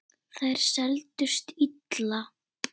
Þær seldust illa.